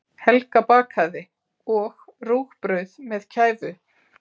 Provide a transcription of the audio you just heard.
Helga bakaði, og rúgbrauð með kæfu.